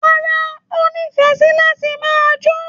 Rárá, n o nífẹẹ sí láti máa jó.